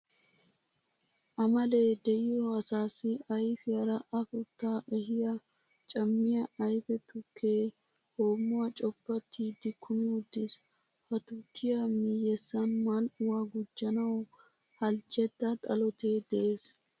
Amalee de'iyo asaassi ayfiyara afuttaa ehiya cammiya ayfee tukkee hoommuwa coppattiiddi kumi uttiis. Ha tukkiya miyyessan mal"uwa gujjanawu halchchetta xalotee de'es.